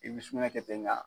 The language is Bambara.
I bi sugunɛ kɛ ten nga